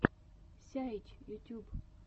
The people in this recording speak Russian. сяйч ютьюб